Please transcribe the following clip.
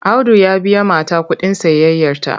Audu ya biya mata kuɗin sayayyarta.